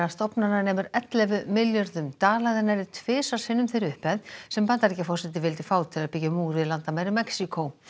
stofnana nemur ellefu milljörðum dala eða nærri tvisvar sinnum þeirri upphæð sem Bandaríkjaforseti vildi fá til að byggja múr við landamæri Mexíkó